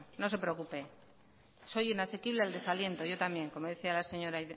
no se preocupe soy inasequible al desaliento yo también como decía la señora